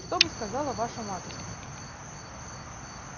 что бы сказала ваша матушка